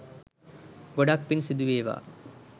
ගොඩක් පින් සිදුවේවා